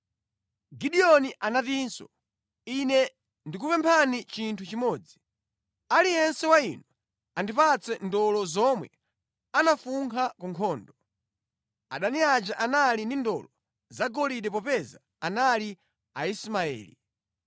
Gideoni anatinso, “Ine ndikupemphani chinthu chimodzi. Aliyense wa inu andipatse ndolo zomwe anafunkha ku nkhondo.” (Adani aja anali ndi ndolo zagolide popeza anali Aismaeli).